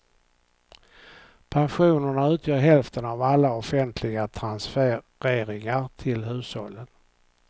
Pensionerna utgör hälften av alla offentliga transfereringar till hushållen.